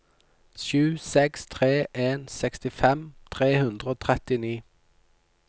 sju seks tre en sekstifem tre hundre og trettini